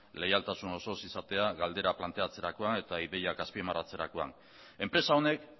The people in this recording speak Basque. leialtasun osoz izatea galdera planteatzerakoan eta ideiak azpimarratzerakoan enpresa honek